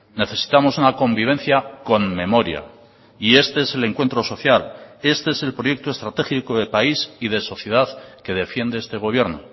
necesitamos una convivencia con memoria y este es el encuentro social este es el proyecto estratégico de país y de sociedad que defiende este gobierno